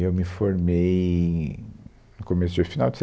Eu me formei em, no começo de, no final de